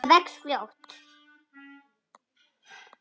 Það vex fljótt.